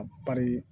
A bari